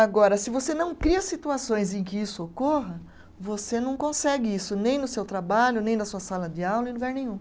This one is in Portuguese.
Agora, se você não cria situações em que isso ocorra, você não consegue isso nem no seu trabalho, nem na sua sala de aula, em lugar nenhum.